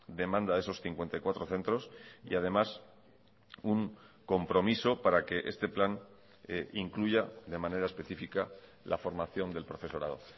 demanda de esos cincuenta y cuatro centros y además un compromiso para que este plan incluya de manera específica la formación del profesorado